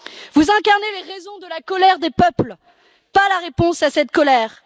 Vous incarnez les raisons de la colère des peuples, pas la réponse à cette colère.